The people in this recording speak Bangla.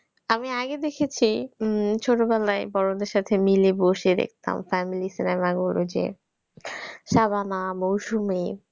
আমি আগে দেখেছি উম ছোটবেলায় বড়দের সাথে মিলে বসে দেখতাম family cinema গুলো যে শাবানা, মৌসুমী।